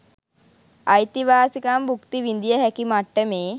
අයිතිවාසිකම් භුක්ති විඳිය හැකි මට්ටමේ